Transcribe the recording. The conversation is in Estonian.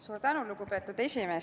Suur tänu, lugupeetud esimees!